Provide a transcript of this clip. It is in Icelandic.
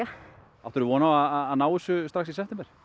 áttirðu von á að ná þessu strax í september